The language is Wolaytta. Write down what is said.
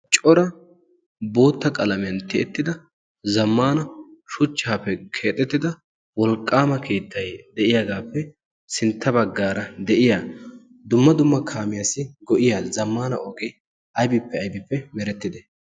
Cora bootta qalamiyan tiyettida zammana shuchchaappe keexettida wolqqaama kiittai de'iyaagaappe sintta baggaara de'iya dumma dumma kaamiyaassi go'iya zammana ogee aibippe aybippe merettide?